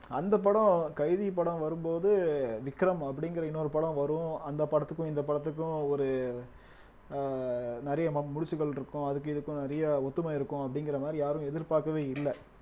அந்த படம் கைதி படம் வரும்போது விக்ரம் அப்படிங்கிற இன்னொரு படம் வரும் அந்த படத்துக்கும் இந்த படத்துக்கும் ஒரு ஆஹ் நிறைய ம~ முடிச்சுகள் இருக்கும் அதுக்கும் இதுக்கும் நிறைய ஒத்துமை இருக்கும் அப்படிங்கிற மாதிரி யாரும் எதிர்பார்க்கவே இல்ல